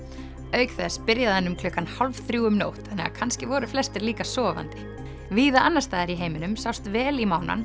auk þess byrjaði hann um klukkan hálf þrjú um nótt þannig að kannski voru flestir líka sofandi víða annars staðar í heiminum sást vel í